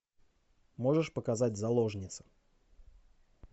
можешь показать заложница